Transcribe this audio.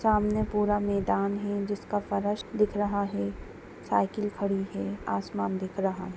सामने पूरा मैदान है जिसका फर्श दिख रहा हैंसाइकिल खड़ी है पूरा आसमान दिख रहा हैं।